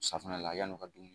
Safinɛ la yann'u ka dumuni